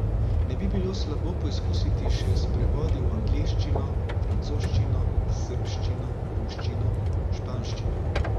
Ne bi bilo slabo poizkusiti še s prevodi v angleščino, francoščino, srbščino, ruščino, španščino.